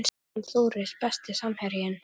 Guðmann Þóris Besti samherjinn?